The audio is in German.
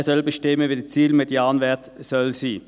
Er soll bestimmen, wie der Ziel-Medianwert sein soll.